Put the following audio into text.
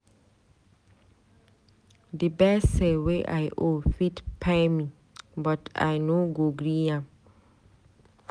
Di gbese wey I owe fit kpai me but I no go gree am.